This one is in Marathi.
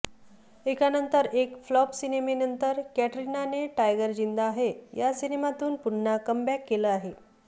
एकानंतर एक फ्लॉप सिनेमेनंतर कॅटरिनाने टायगर जिंदा है या सिनेमातून पुन्हा कमबॅक केलं आहे